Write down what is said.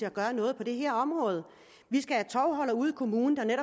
at gøre noget på det her område vi skal have tovholdere ude i kommunerne